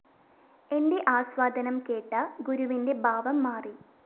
എന്റെ ആസ്വാദനം കേട്ട ഗുരുവിന്റെ ഭാവം മാറി